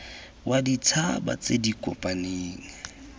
wa ditšhaba tse di kopaneng